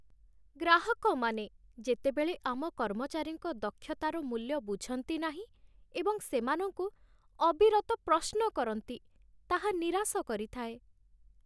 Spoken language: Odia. ଗ୍ରାହକମାନେ ଯେତେବେଳେ ଆମ କର୍ମଚାରୀଙ୍କ ଦକ୍ଷତାର ମୂଲ୍ୟ ବୁଝନ୍ତି ନାହିଁ, ଏବଂ ସେମାନଙ୍କୁ ଅବିରତ ପ୍ରଶ୍ନ କରନ୍ତି, ତାହା ନିରାଶ କରିଥାଏ।